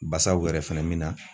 Basaw yɛrɛ fɛnɛ min na